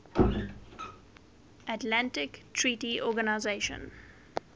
atlantic treaty organisation